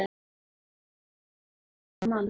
Lóa Lóa hafði aldrei séð þennan mann.